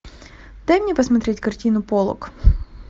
дай мне посмотреть картину полок